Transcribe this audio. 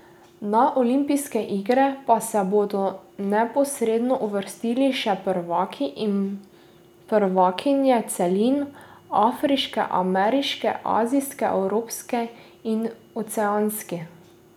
Na olimpijske igre pa se bodo neposredno uvrstili še prvaki in prvakinje celin, afriški, ameriški, azijski, evropski in oceanijski.